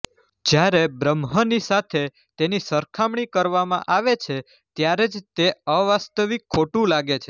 જ્યારે બ્રહ્મની સાથે તેની સરખામણી કરવામાં આવે છે ત્યારે જ તે અવાસ્તવિક ખોટું લાગે છે